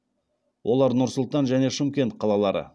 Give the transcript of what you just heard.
олар нұр сұлтан және шымкент қалалары